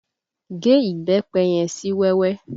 Gé Ìbẹ́pẹ yẹn sí wẹ́wẹ́!